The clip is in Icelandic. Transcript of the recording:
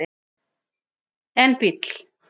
en bíll